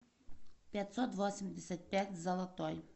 пятьсот восемьдесят пять золотой